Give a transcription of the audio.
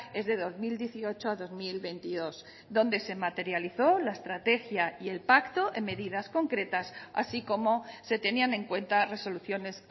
es de dos mil dieciocho dos mil veintidós donde se materializó la estrategia y el pacto en medidas concretas así como se tenían en cuenta resoluciones